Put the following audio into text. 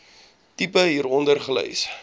tipe hieronder gelys